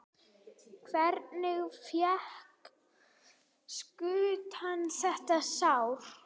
Hvernig fékkstu þetta sár?